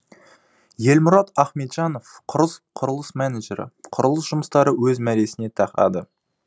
елмұрат ахметжанов құрылыс менеджері құрылыс жұмыстары өз мәресіне тақады